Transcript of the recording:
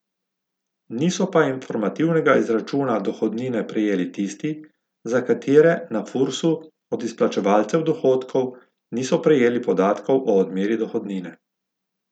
Niso pa informativnega izračuna dohodnine prejeli tisti, za katere na Fursu od izplačevalcev dohodkov niso prejeli podatkov o odmeri dohodnine.